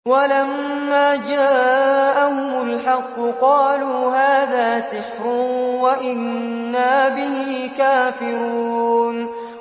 وَلَمَّا جَاءَهُمُ الْحَقُّ قَالُوا هَٰذَا سِحْرٌ وَإِنَّا بِهِ كَافِرُونَ